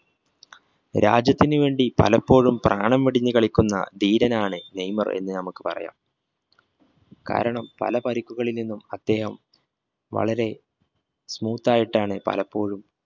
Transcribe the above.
രാജ്യത്തിനു വേണ്ടി പലപ്പോഴും പ്രാണൻ വിടിഞ്ഞ് കളിക്കുന്ന ധീരനാണ് നെയ്മറിന് നമുക്ക് പറയാം കാരണം പല പരുക്കുകളിൽ നിന്നും അദ്ദേഹം വരളെ smooth ആയിട്ടാണ് പലപ്പോഴും